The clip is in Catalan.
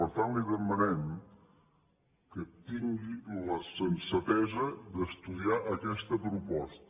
per tant li demanem que tingui la sensatesa d’estudiar aquesta proposta